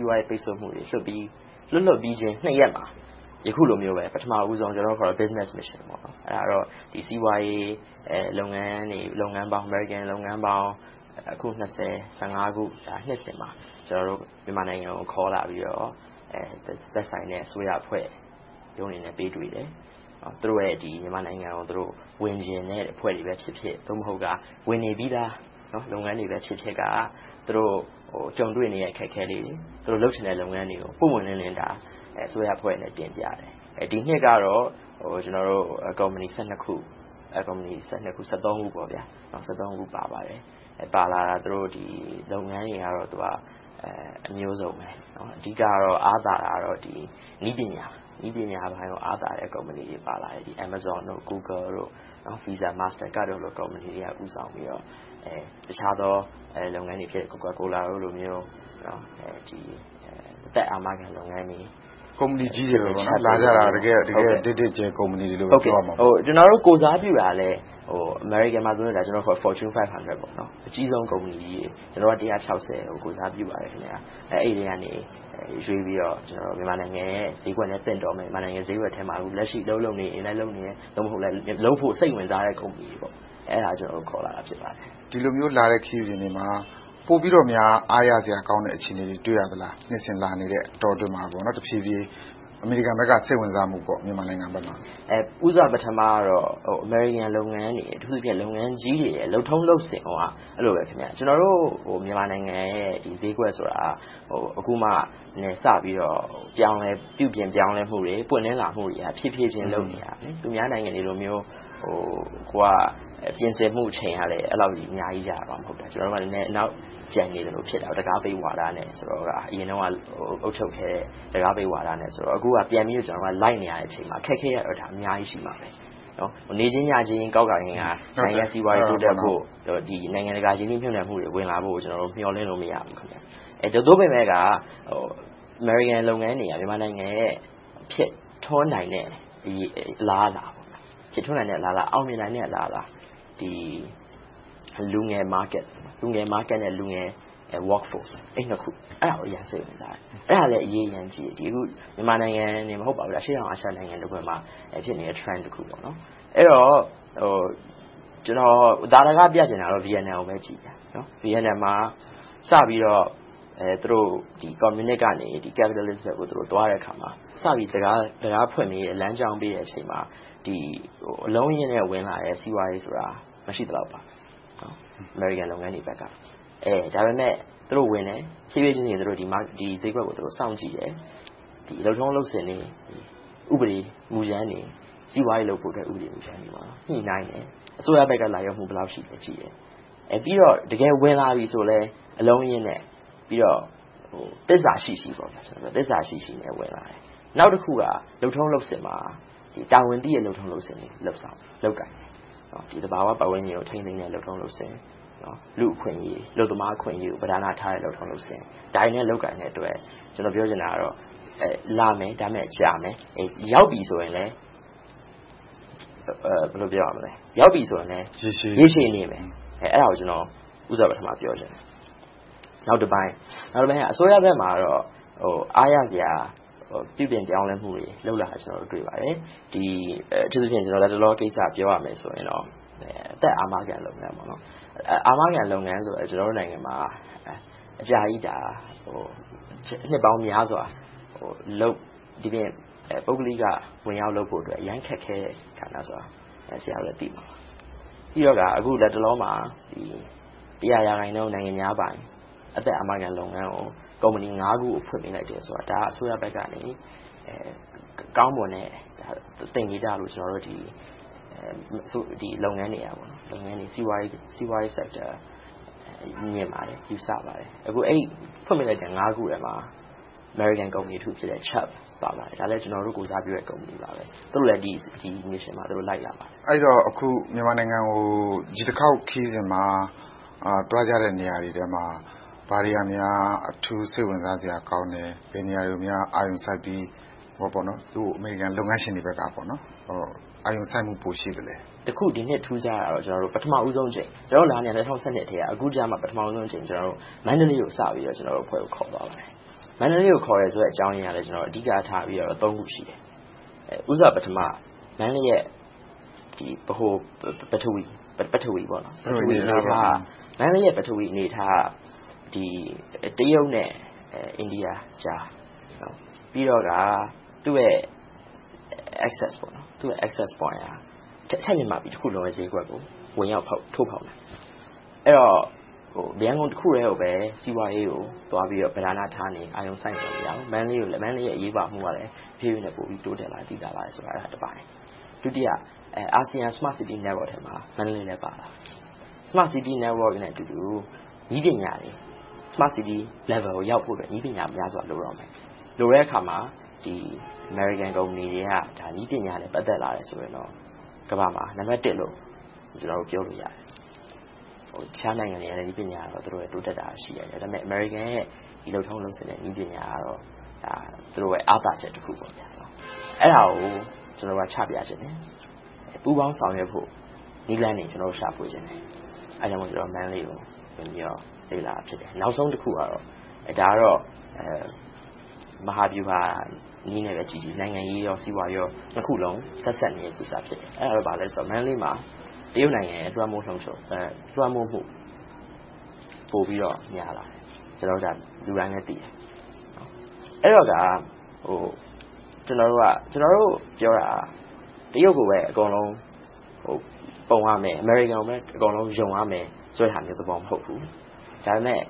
ီးပွားရေးပိတ်စို့မှုတွေ လွှတ်လွတ်ချင်း ရက်မှာ အခုလိုမျိုး ပထမဦးဆုံး ကျနော်တို့အခေါ် Business Mission စီးပွားရေးလုပ်ငန်းပေါင်း အမေရိကန်လုပ်ငန်းပေါင်း အခု ခု နှစ်စဉ် မြန်မာနိုင်ငံကိုခေါ်လာပြီးတော့ သက်ဆိုင်ရာအစိုးရအဖွဲ့တို့နဲ့ ပေးတွေ့တယ်။ သူတို့ရဲ့ မြန်မာနိုင်ငံကို ဝင်ရောက်ချင်တဲ့ အဖွဲ့တွေဖြစ်ဖြစ်၊ သို့မဟုတ် ဝင်နေပြီသား လုပ်ငန်းတွေဖြစ်ဖြစ်က သူတို့ကြုံတွေ့နေရတဲ့ အခက်အခဲလေးတွေ၊ လုပ်ချင်တဲ့ လုပ်ငန်းတွေကို ပွင့်ပွင့်လင်းလင်း အစိုးရအဖွဲ့ကို တင်ပြတယ်။ ဒီနှစ်ကတော့ ကုမ္ပဏီ ခု ခု ပါပါတယ်။ ပါလာတဲ့ ကုမ္ပဏီလုပ်ငန်းတွေကလည်း အမျိုးစုံပါ။ အဓိကတော့ အားသာတာကတော့ နည်းပညာပိုင်ဆိုင်ရာ အားသာတဲ့ ကုမ္ပဏီတွေ ပါပါတယ်။ Amazon, Google, Visa, Master Cards တို့လို ကုမ္ပဏီတို့က ဦးဆောင်ပြီးတော့ အခြားသော လုပ်ငန်းတွေဖြစ်တဲ့ ကိုကာကိုလာတို့လိုမျိုး၊ အသက်အာမခံခံ လုပ်ငန်းတွေ… မေး ။ ။ လာကြတာ ဒိတ်ဒိတ်ကြဲ ကုမ္ပဏီတွေလို့ပဲ ပြောရမှာပေါ့။ ဖြေ ။ ။ ကျနော်တို့ ကိုယ်စားပြုတာလဲ အမေရိကန်မှာဆို Fortune 500 အကြီးဆုံးကုမ္ပဏီကြီးတွေ။…. အကြီးဆုံးကုမ္ပဏီကြီးတွေ.. ကျနော်တို့က ကို ကိုယ်စားပြုပါတယ်။ အဲဒီထဲကရွေးပြီးတော့ မြန်မာနိုင်ငံရဲ့ ဈေးကွက်နဲ့ သင့်တော်မယ့်၊ မြန်မာနိုင်ငံဈေးကွက်ထဲမှာ လက်ရှိအလုပ်လုပ်နေ၊ investment လုပ်ဖို့ စိတ်ဝင်စားတဲ့ ကုမ္ပဏီတွေကို ခေါ်လာတာပါ။ မေး ။ ။ ဒီလိုမျိုးလာတဲ့ ခရီးစဉ်တွေမှာ ပိုပြီးတော့များ အားရစရာကောင်းတဲ့ အခြေအနေတွေ တွေ့ရသလား။ နှစ်စဉ်လာနေတဲ့ အတော်အတွင်းမှာ တဖြည်းဖြည်း အမေရိကန်ဘက်က စိတ်ဝင်စားမှု။ ဖြေ ။ ။ ဦးစွာပထမတော့ အမေရိကန်လုပ်ငန်းတွေ အထူးသဖြင့် လုပ်ငန်းကြီးတွေရဲ့ လုပ်ထုံးလုပ်စဉ်ကိုက အဲဒီလိုပဲ ကျနော်တို့မြန်မာနိုင်ငံရဲ့ ဈေးကွက်ဆိုတာ အခုမှစပြီးတော့ ပြောင်းလဲပြုပြင်လာမှုတွေ၊ ပွင့်လင်းလာမှုတွေက တဖြည်းဖြည်းလုပ်နေတာ။ သူများနိုင်ငံတွေလိုမျိုး ပြင်ဆင်မှုအချိန်ကလဲ အဲဒီလောက် အများကြီးမရဘူး။ ကျနော်တို့က နောက်ကျန်နေသလိုဖြစ်ပြီး၊ တံခါးပိတ်ဝါဒနဲ့ အရင်တုန်းက အုပ်ချုပ်ခဲ့တာဆိုတော့ အခုက ပြန်ပြီးတော့ လိုက်နေရတဲ့အချိန်မှာ အခက်အခဲကတော့ အများကြီးရှိပါတယ်။ နေချင်းညချင်း ကောက်ခါငင်ခါ စီးပွားရေးတိုးတက်ဖို့၊ နိုင်ငံတကာရင်းနှီးမြုပ်နံှမှုတွေ ဝင်လာဖို့ကို ကျနော်တို့ မျှော်လင့်လို့ မရဘူး။ သို့ပေမယ့် အမေရိကန်လုပ်ငန်းတွေက မြန်မာနိုင်ငံရဲ့ ဖြစ်ထွန်းနိုင်တဲ့ အလားအလာ၊ အောင်မြင်နိုင်တဲ့ အလားအလာ၊ လူငယ်ဈေးကွက်နဲ့ လူငယ်လုပ်အား - အဲဒီနှစ်ခုကို စိတ်ဝင်စားတယ်။ အဲဒါလဲ သိပ်အရေးကြီးတယ်။ မြန်မာနိုင်ငံတင် မဟုတ်ပါဘူး အရှေ့တောင်အာရျှမှာ ဖြစ်နေတဲ့ Trend တခုပါ။ အဲဒီတော့ ကျနော် သာဓကပြချင်တာကတော့ ဗိယက်နမ်ပါ။ အဲဒီမှာ စပြီးတော့ ကွန်မြူနစ်ကနေ အရင်းရှင်ဘက်ကို သွားတဲ့အခါမှာ စပြီးတံခါးဖွင့်ပေး၊ လမ်းကြောင်းဖွင့်ပေးတဲ့နေရာမှာ အလုံးအရင်းနဲ့ ဝင်လာတဲ့ စီးပွားရေးဆိုတာ မရှိသလောက်ပါ။ အမေရိကန်လုပ်ငန်းတွေဘက်က ဒါပေမဲ့ သူတို့ဝင်တယ်။ ဖြည်းဖြည်းချင်း ဒီဈေးကွက်ကို စောင့်ကြည့်တယ်။ လုပ်ထုံးလုပ်စဉ်တွေ၊ ဥပဒေမူကြမ်းတွေ၊ စီးပွားရေးလုပ်ဖို့ ဥပဒေမူကြမ်းတွေကို ညှိနှိုင်းတယ်။ အစိုးရဘက်က လိုက်လျောမှု ဘယ်လောက်ရှိသလဲဆိုတာကို ကြည့်တယ်။ ပြီးတော့ တကယ်ဝင်လာပြီဆိုရင်လဲ အလုံးအရင်းနဲ့ ပြီးတော့ သစ္စာရှိရှိနဲ့ ဝင်လာတယ်။ နောက်တခုက လုပ်ထုံးလုပ်စဉ်မှာ တာဝန်သိတဲ့ လုပ်ထုံးလုပ်စဉ်တွေ လုပ်ကိုင်ကြတယ်။ သဘာဝပတ်ဝန်းကျင်ကို ထိန်းသိမ်းတဲ့ လုပ်ထုံးလုပ်စဉ်တွေ။ လူ့အခွင့်အရေးတွေ၊ အလုပ်သမား အခွင့်အရေးတွေ ပဓာနထားတဲ့ လုပ်ထုံးလုပ်စဉ်တွေနဲ့ လုပ်ကိုင်တဲ့အတွက် လာမယ်၊ ဒါပေမဲ့ ကြာမယ်။ ရောက်ပြီဆိုရင်လဲ ရေရှည်နေမယ်။ အဲဒါကို ကျနော် ဦးစွာပထမပြောချင်တယ်။ နောက်တပိုင်း - အစိုးရဘက်မှာတော့ အားရစရာ၊ ပြုပြင်ပြောင်းလဲမှုတွေ လုပ်လာတာ တွေ့ပါတယ်။ အထူးသဖြင့် လတ်တလောကိစ္စ ပြောရမယ်ဆိုရင်တော့ အသက်အာမခံလုပ်ငန်း - အာမခံလုပ်ငန်းဆိုရင် ကျနော်တို့နိုင်ငံမှာ အကြာကြီး နှစ်ပေါင်းများစွာ ပုဂ္ဂလိက ဝင်ရောက်လုပ်ကိုင်ဖို့ အလွန်ခက်ခဲတယ်ဆိုတာကို ဆရာတို့လည်း သိမှာပါ။ ပြီးတော့ အခုလတ်တလောမှာ ရာခိုင်နှုန်း နိုင်ငံခြားပိုင် အသက်အာခမခံလုပ်ငန်းကို ကုမ္ပဏီ ခုကို ဖွင့်ခွင့်ပေးလိုက်တယ်ဆိုတာ ဒါက အစိုးရဘက်ကနေ ကောင်းမွန်တဲံ သင်္ကေတလို့ လုပ်ငန်းတွေ၊ စီးပွားရေးအုပ်စုတွေက မြင်ပါတယ်။ ယူဆကြပါတယ်။ အဲဒီ ဖွင့်ပေးလိုက်တဲ့ ခုထဲမှာ အမေရိကန်ကုမ္ပဏီတခုဖြစ်တဲ့ Chubb လည်းပါပါတယ်။ ကျနော်တို့ ကိုယ်စားပြုတဲ့ ကုမ္ပဏီ ဖြစ်ပါတယ်။ သူတို့လည်း ဒီ Mission မှာ လိုက်လာပါတယ်။ မေး ။ ။ အဲဒီတော့ မြန်မာနိုင်ငံကို ဒီတခေါက် ခရီးစဉ်မှာ သွားကြတဲ့ နေရာတွေထဲမှာ ဘာတွေကများ အထူးစိတ်ဝင်စားစရာကောင်းတယ်။ ဘယ်နေရာတွေကိုများ အာရုံစိုက်ပြီး အမေရိကန်လုပ်ငန်းရှင်တွေဘက်က အာရုံစိုက်မှု ပိုရှိသလဲ။ ဖြေ ။ ။ တခု ဒီနှစ်ထူးခြားတာကတော့ ပထမဦးဆုံးအကြိမ် - ကျနော်တို့လာနေတာ ၂၀၁၂ ထဲက အခုကြမှ ပထမဦးဆုံး မန္တလေးကို ကျနော်တို့အဖွဲ့ကို ခေါ်သွားပါတယ်။ မန္တလေးကို ခေါ်သွားတဲ့အကြောင်းရင်းကလဲ အဓိကထားတာ ခု ရှိတယ်။ ဦးစွာပထမ မန္တလေးရဲ့ ဗဟိုပထဝီအနေအထားက တရုတ်နဲ့ အိန္ဒိယအကြား။ ပြီးတော့က သူ့ရဲ့ အချက်အချာက အထက်မြန်မာပြည် ဈေးကွက်တခုလုံးကို ဝင်ရောက်ထိုးဖောက်နိုင်တယ်။ အဲဒီတော့ ရန်ကုန်တခုတည်းကိုပဲ အဓိကထားပြီး အာရုံထားနေလို့ မရဘူး။ မန္တလေးရဲ့ အရေးပါမှုကည်း တဖြည်းဖြည်းနဲ့ တိုးတက်လာပါတယ်။ ဒုတိယတပိုင်းက ASEAN Smart City Network မှာ မန္တလေးလည်း ပါလာတယ်။ Smart City Network နဲ့အတူတူ နည်းပညာတွေ၊ Smart City အဆင့်ကိုရောက်ဖို့ နည်းပညာများစွာ လိုတော့မယ်။ လိုတဲ့အခါမှာ အမေရိကန်ကုမ္ပဏီတွေက နည်းပညာနဲ့ ပတ်သက်လာရင်တော့ ကမ္ဘာမှာ နံပတ်တစ်လို့ ကျနော်တို့ ပြောလို့ရတယ်။ အခြားနိုင်ငံတွ နည်းပညာတွေ တိုးတက်တာရှိတယ်။ ဒါပေမဲ့ အမေရိကန်ရဲ့ လုပ်ထုံးလုပ်စဉ်နဲ့ နည်းပညာကတော့ သူတို့ရဲ့ အားသာချက်တခု ဖြစ်တယ်။ အဲဒါကို ကျနော်တို့က ချပြချင်တယ်။ ပူးပေါင်းဆောင်ရွက်ဖို့ နည်းလမ်းတွေ ရှာဖွေချင်တယ်။ အဲဒါကြောင့် မန္တလေးကို ဝင်ရောက်လေ့လာခြင်းဖြစ်တယ်။ နောက်ဆုံးတခုကတော့ မဟာဗျူဟာနည်းနဲ့ပဲကြည့်ကြည့်၊ နိုင်ငံရေး၊ စီးပွားရေး၊ နှစ်ခုစလုံး ဆက်စပ်နေတဲ့ ကိစ္စ ဖြစ်တယ်။ အဲဒါက ဘာလဲဆိုတော့ မန္တလေးမှာ တရုတ်နိုင်ငံရဲ့ လွှမ်းမိုးလွှမ်းခြုံမှု ပိုပြီးတော့များလာတယ်။ ကျနော်တို့ ဒါကို လူတိုင်းလည်းသိတယ်။ အဲဒီတော့ ကျနော်တို့ပြောတာက တရုတ်ကိုပဲ အကုန်လုံးပုံရမယ်။ အမေရိကန်ကိုပဲ အကုန်လုံး ယုံရမယ် မဟုတ်ဘူး။ ဒါပေမဲ့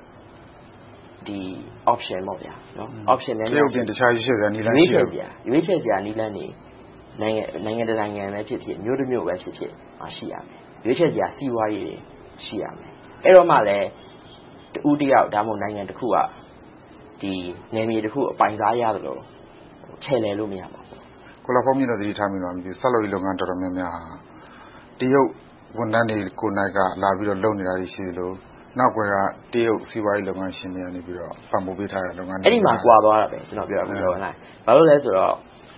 ရွေးချယ်စရာ နည်းလမ်းတွေ နိုင်ငံတနိုင်ငံဖြစ်ဖြစ်၊ မြို့တမြို့ဖြစ်ဖြစ်မှာ ရှိရမယ်။ ရွေးချယ်စရာ စီးပွားရေးတွေ ရှိရမယ်။ အဲဒါမှလဲ တဦးတယောက်၊ နိုင်ငံတနိုင်ငံက နယ်မြေတခုကို အပိုင်စားရသလို ချယ်လှယ်လို့ မရတော့ဘူး။ မေး ။ ။ ကိုလှဘုန်းမြင့်တော့ သတိထားမိသလား မသိဘူး။ ဆောက်လုပ်ရေးလုပ်ငန်းတွေမှာ တရုတ်ဝန်ထမ်းတွေကိုယ်တိုင် လာပြီးတော့ လုပ်နေတာ ရှိသလို၊ နောက်ကွယ်ကနေ တရုတ်စီးပွားရေး လုပ်ငန်းရှင်တွေက ပံ့ပိုးပေးထားတဲ့ လုပ်ငန်းတွေ။ ဖြေ ။ ။ အဲဒီမှာ ကွာသွားတာပဲ.. ဘာဖြစ်လို့လဲဆိုတော့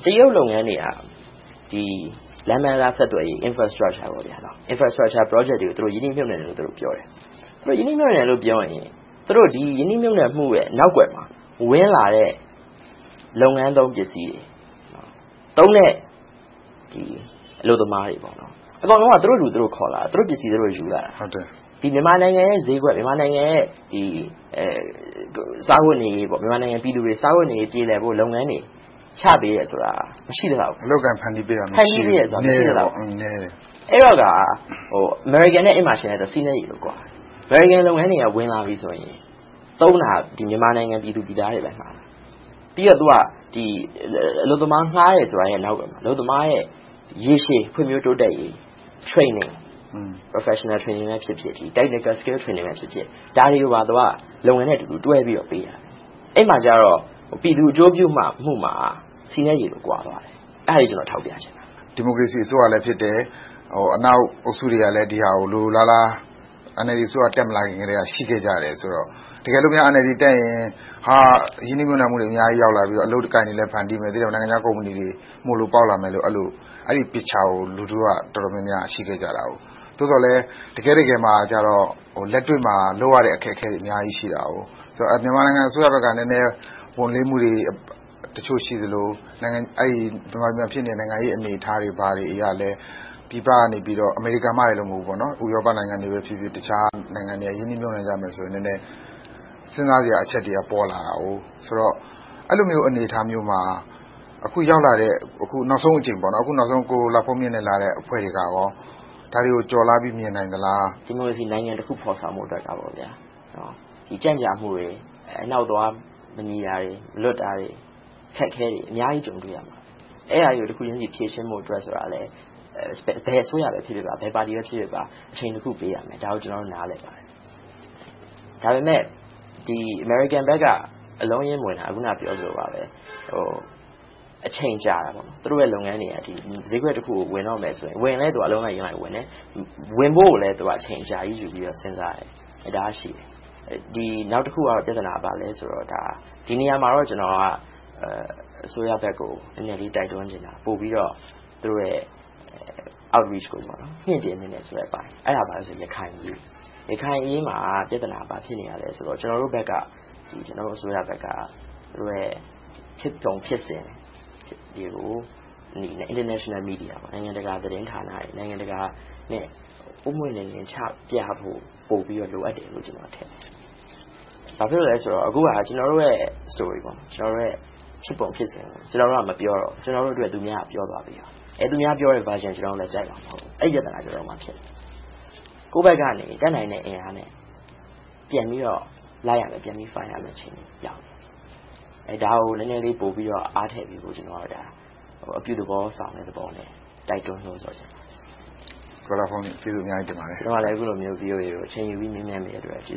တရုတ်လုပ်ငန်းတွေက လမ်းပန်းတံတားဆက်သွယ်ရေး Infrastructure projects တွေကို သူတို့ရင်းနှီးမြုပ်နံှတယ်လို့ ပြောတယ်။ အဲဒီရင်းနှီးမြုပ်နံှမှု နောက်ကွယ်မှာ ဝင်လာတဲ့ လုပ်ငန်းသုံးပစ္စည်းတွေ။ သုံးတဲ့အလုပ်သမားတွေ အကုန်လုံး သူတို့လူ သူတို့ခေါ်လာတယ်။ သူတို့ပစ္စည်း သူတို့ ယူလာတယ်။ မြန်မာနိုင်ငံရဲ့ ဈေးကွက်၊ မြန်မာနိုင်ငံရဲ့ ပြည်သူတွေ စားဝတ်နေရေး ပြေလည်ဖို့၊ ချပေးတယ်ဆိုတာ မရှိသလောက်ပဲ။ မေး ။ ။ အလုပ်အကိုင် ဖန်တီးပေးတယ်ဆိုတာ မရှိဘူး။ နည်းတယ်။ ဖြေ ။ ။ အဲဒီတော့က အမေရိကန်နဲ့ ယှဉ်လိုက်ရင် အဲဒီမှာ ဆီနဲ့ရေ ကွာတယ်။ အမေရိကန်လုပ်ငန်းတွေက ဝင်လာပြီးဆိုရင် သုံးတာက မြန်မာနိုင်ငံသူ နိုင်ငံသားတွေကို ငှားတယ်။ ပြီးတော့ အလုပ်သမားငှားတယ်ဆိုတဲ့ နောက်ကွယ်မှာ အလုပ်သမားရဲ့ ရေရှည်ဖွံ့ဖြိုးတိုးတက်ရေး Training- Professional training or Technical training ဖြစ်ဖြစ် ဒါတွေကို လုပ်ငန်းနဲ့တွဲပြီးပေးတယ်။ အဲဒီမှာ ပြည်သူအကျိုးပြုမှုမှာ ဆီနဲ့ရေ ကွာသွားတယ်။ အဲဒါတွေကို ကျနော်ထောက်ပြချင်တာပါ။ မေး ။ ။ ဒီမိုကရေစီအစိုးရလည်း ဖြစ်တယ်။ အနောက်အုပ်စုတွေကလည်း ဒီဟာကို လိုလိုလားလား - NLD အစိုးရ တက်မလာခင်ကတည်း ရှိခဲ့ကြတယ်ဆိုတော့ တကယ်လို့များ NLD အစိုးရ ဖြစ်လာခဲ့ရင် ရင်းနှီးမြုပ်နံှမှုတွေ ရောက်လာပြီးတော့ အလုပ်အကိုင်တွေလည်း ဖန်တီးမယ်။ နိုင်ငံခြားကုမ္ပဏီတွေ မှိုလိုပေါက်လာမယ်လို့ အဲဒီပုံရိပ်ကို လူထုအများစုက ရှိခဲ့ကြတယ်။ သို့သော်လဲ တကယ့်တကယ်မှာ လက်တွေ့မှာ လုပ်ရတဲ့ အခက်အခဲတွေ အများကြီးရှိတယ်။ မြန်မာနိုင်ငံဘက်က နည်းနည်းဝန်လေးမှုတွေ ရှိသလို၊ နောက် မြန်မာနိုင်ငံမှာ ဖြစ်နေတဲ့ နိုင်ငံရေးအနေအထားတွေအရလဲ ပြည်ပကနေ အမေရိကန်မှမဟုတ်ဘူး၊ ဥရောပနိုင်ငံတွေနဲ့ အခြားနိုင်ငံတွေက ရင်းနှီးမြုပ်နံှမှုအတွက် စဉ်းစားစရာအချက်တွေက ပေါ်လာတယ်ဆိုတော့ အဲဒီလိုမျိုး အနေအထားမျိုးမှာ အခုရောက်လာတဲ့ - အခုနောက်ဆုံး ကိုလှဘုန်းမြင့်နဲ့လာတဲ့ အဖွဲ့တွေက ဒါတွေကို ကျော်လွှာပြီး မြင်နိုင်သလား။ ဖြေ ။ ။ ဒီမိုကရေစီနိုင်ငံတခု ဖော်ဆောင်ဖို့အတွက် ကြန့်ကြာမှုတွေ၊ အနှောင့်အသွား မညီတာတွေ၊ မလွတ်တာတွေ၊ အခက်အခဲတွေ အများကြီးကြုံတွေ့ရမှာပါ။ အဲဒါတွေကို တခုချင်း ဖြေရှင်းဖို့ဆိုတာလဲ ဘယ်အစိုးရဖြစ်ဖြစ်၊ ဘယ်ပါတီပဲဖြစ်ဖြစ် အချိန်တခုပေးရမယ်။ ဒါကို ကျနော်တို့ နားလည်ပါတယ်။ ဒါပေမဲ့ အမေရိကန်ဘက်က အလုံးအရင်းမဝင်တာ အခုနပြောသလိုပဲ အချိန်ကြာတယ်။ သူတို့ရဲ့ လုပ်ငန်းတွေက ဈေးကွက်တခုကို ဝင်တော့မယ်ဆိုရင် - ဝင်ရင်လဲ သူုတို့က အလုံးအရင်းနဲ့ဝင်တယ်။ ဝင်ဖို့ကိုလဲ အချိန်အကြာကြီးယူပြီးတော့ စဉ်းစားတယ်။ နောက်တခုရှိတဲ့ ပြဿနာက ဘာလဲဆိုတော့ ဒီနေရာမှာတော့ ကျနော်က အစိုးရဘက်ကို နည်းနည်းလေး တိုက်တွန်းချင်တယ်။ ပိုပြီးတော့ သူတို့ရဲ့ Outreach ကို မြှင့်တင်သင့်တယ်ဆိုတဲ့ အပိုင်း။ အဲဒါ ဘာလဲဆိုရင် ရခိုင်အရေး - အဲဒီမှာ ပြဿနာက ဘာဖြစ်နေလဲဆိုတော့ ကျနော်တို့ဘက်က အစိုးရဘက်က သူတို့ရဲ့ ဖြစ်ပုံဖြစ်စဉ်တွေကို နိုင်ငံတကာမီဒီယာတွေ၊ နိုင်ငံတကာကို ပွင့်ပွင့်လင်းလင်း ချပြဖို့ ပိုပြီးတော့ လိုအပ်တယ်လို့ ကျနော်ထင်တယ်။ ဘာဖြစ်လို့လဲဆိုတော့ အခုဟာက ကျနော်တို့ရဲ့ ဖြစ်ပုံဖြစ်စဉ်ကို ကျနော်တို့က မပြောတော့ ကျနော်တို့အတွက် သူများက ပြောသွားတယ်။ သူများပြောတဲ့ Version ကို ကျနော်တို့လည်း ကြိုက်မှာမဟုတ်ဘူး။ အဲဒါ ကျနော်တို့မှာ ဖြစ်နေတယ်။ ကိုယ်ဘက်ကနေ တတ်နိုင်တဲ့ အင်အားနဲ့ ပြန်ပြီးတော့ လိုက်ရမယ်။ ပြန်ပြီးတော့ Fight ရမယ့် အနေအထားကို ရောက်နေပြီ။ ဒါကို နည်းနည်းလေး ပိုပြီးတော့ အားထည့်ပေးဖို့ ကျနော်အနေနဲ့ အပြုသဘောဆောင်တဲ့သဘောနဲ့ တိုက်တွန်းချင်ပါတယ်။ မေး ။ ။ ကိုလှဘုန်းမြင့် ကျေးဇူးအများကြီးတင်ပါတယ်။ ဖြေ ။ ။ ကျနော်ကလည်း အခုလိုမျိုး အချိန်ယူပြီး မေးမြန်းပေးတဲ့အတွက် VOA ကို ကျေးဇူ